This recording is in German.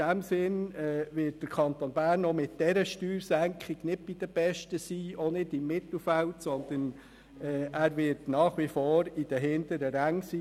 In diesem Sinn wird sich der Kanton Bern auch mit dieser Steuersenkung nicht unter den Besten befinden, nicht einmal im Mittelfeld, sondern er wird nach wie vor bei den hinteren Rängen verbleiben.